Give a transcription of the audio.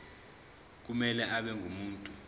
kumele abe ngumuntu